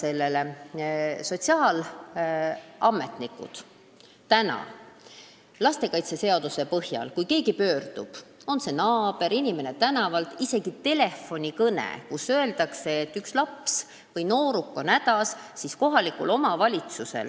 Praeguse lastekaitseseaduse põhjal reageerivad kohaliku omavalitsuse sotsiaalametnikud, kui keegi pöördub sellise infoga – on see naabrilt, inimeselt tänavalt või isegi telefonikõne –, et üks laps või nooruk on hädas.